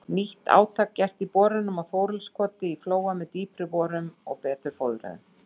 Nýtt átak gert í borunum í Þorleifskoti í Flóa með dýpri holum og betur fóðruðum.